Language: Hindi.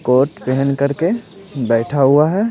कोट पहन कर के बैठा हुआ है।